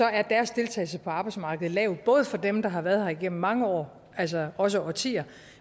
er deres deltagelse på arbejdsmarkedet lav både for dem der har været her gennem mange år altså også årtier